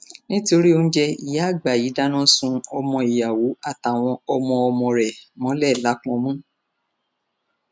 nítorí oúnjẹ ìyá àgbà yìí dáná sun ọmọ ìyàwó àtàwọn ọmọọmọ rẹ mọlẹ lápọnmú